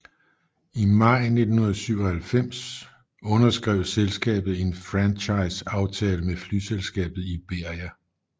I maj 1997 underskrev selskabet en franchise aftale med flyselskabet Iberia